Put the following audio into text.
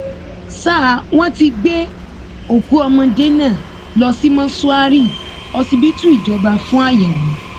ṣá wọn ti gbé òkú ọmọdé náà lọ sí mọṣúárì ọsibítù ìjọba fún àyẹwò